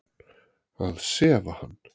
Að sefa hann.